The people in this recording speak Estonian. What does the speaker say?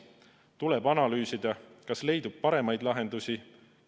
Tuleb analüüsida, kas leidub paremaid lahendusi.